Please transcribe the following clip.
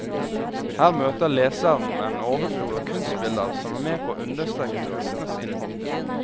Her møter leseren en overflod av kunstbilder som er med på å understreke tekstenes innhold.